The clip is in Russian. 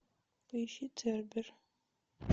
поищи цербер